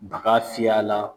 A ka fiyɛ a la.